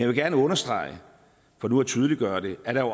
vil gerne understrege for nu at tydeliggøre det at der